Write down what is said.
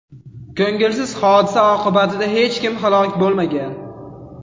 Ko‘ngilsiz hodisa oqibatida hech kim halok bo‘lmagan.